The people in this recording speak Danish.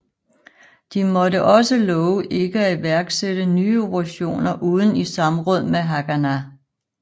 De måtte også love ikke at iværksætte nye operationer uden i samråd med Haganah